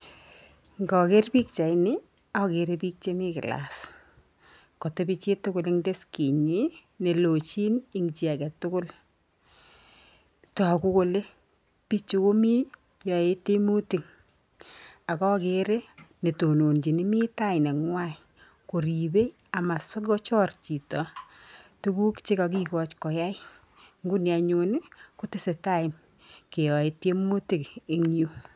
Ngaker pikchatini agere biik chemi class katebi chituguleng deskitnyi nelogin eng chi agetugul. Togu kole biichu komii yaei tiemutik ak agerei netononjini mitai neng''wai koribei amasokochor chito tuguk che kakikoch koyai. Nguni anyun kotesetai keyae tiemutik engyu.